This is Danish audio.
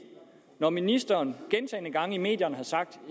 når ministeren gentagne gange i medierne har sagt